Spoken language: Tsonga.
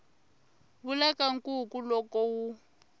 vula ka nkuku loko wu